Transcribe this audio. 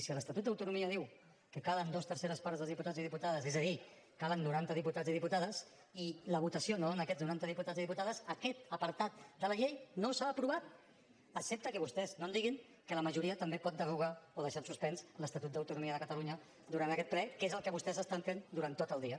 si l’estatut d’autonomia diu que calen dues terceres parts dels diputats i diputades és a dir calen noranta diputats i diputades i la votació no dona aquests noranta diputats i diputades aquest apartat de la llei no s’ha aprovat excepte que vostès no em diguin que la majoria també pot derogar o deixar en suspens l’estatut d’autonomia de catalunya durant aquest ple que és el que vostès estan fent durant tot el dia